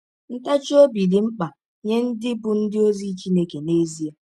Ntachi ọbi dị mkpa nye ndị bụ́ ndị ọzi Chineke n’ezie.